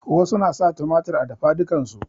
Wasu na sa tumatir a dafadukan su